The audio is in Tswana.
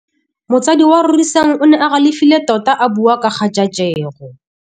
Motsadi wa Rorisang o ne a galefile tota a bua ka kgajajegô.